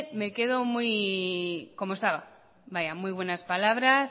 me quedo muy como estaba vaya muy buenas palabras